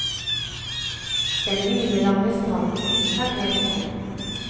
Den milelange stranden er helt tom.